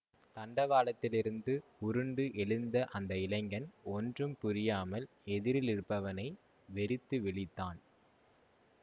தண்டவாளத்திலிருந்து உருண்டு எழுந்த அந்த இளைஞன் ஒன்றும் புரியாமல் எதிரிலிருப்பவனை வெறித்து விழித்தான்